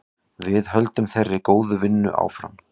Við höldum þeirri góðu vinnu áfram.